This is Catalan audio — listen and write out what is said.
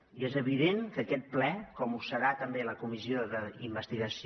i és evident que aquest ple com ho serà també la comissió d’investigació